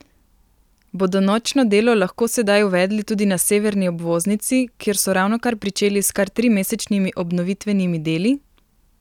Bodo nočno delo lahko sedaj uvedli tudi na severni obvoznici, kjer so ravnokar pričeli s kar trimesečnimi obnovitvenimi deli?